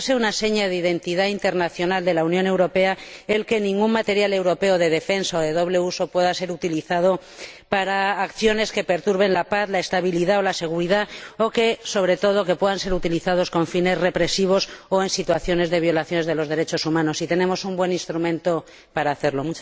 Debería ser una seña de identidad internacional de la Unión Europea el que ningún material europeo de defensa o de doble uso pueda ser utilizado para acciones que perturben la paz, la estabilidad o la seguridad o, sobre todo, que puedan ser utilizados con fines represivos o en situaciones de violaciones de los derechos humanos, y tenemos un buen instrumento para hacerlo.